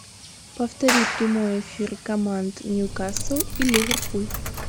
повтори прямой эфир команд ньюкасл и ливерпуль